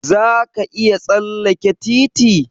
Za ka iya tsalleke titi?